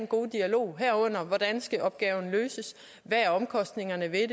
gode dialog om hvordan opgaven skal løses hvad omkostningerne er ved